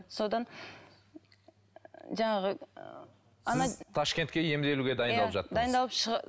содан жаңағы сіз ташкентке емделуге дайындалып жаттыңыз дайындалып